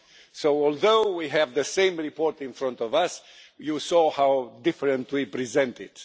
So although we have the same report in front of us, you saw how differently we present it.